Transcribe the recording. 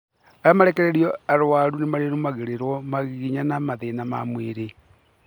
Arĩa marekererĩo arũaru ni marĩrumagererwo mangĩgĩa na mathĩna ma mwĩrĩ.